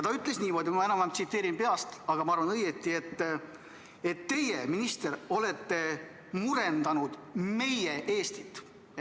Ta ütles niimoodi – ma enam-vähem peast tsiteerin, aga arvan, et õigesti –, et teie, minister, olete murendanud meie Eestit.